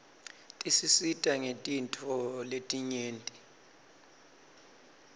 tisisita ngetintfo letinyeti